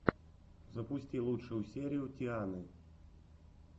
запусти лучшую серию тианы